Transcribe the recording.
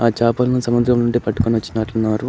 చాపల్ని సముద్రం నింటి పట్టుకొని వొచ్చినట్టు ఉన్నారు.